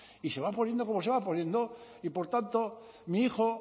y se van poniendo como se va poniendo y por tanto mi hijo